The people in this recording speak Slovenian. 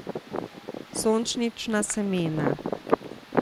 Sončnična semena.